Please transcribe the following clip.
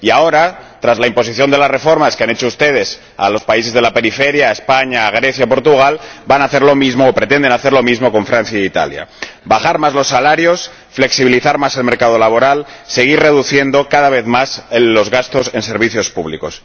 Y ahora, tras la imposición de las reformas que han hecho ustedes a los países de la periferia —a España, Grecia y Portugal—, van a hacer lo mismo, o pretenden hacer lo mismo con Francia e Italia bajar más los salarios, flexibilizar más el mercado laboral y seguir reduciendo, cada vez más, los gastos en servicios públicos.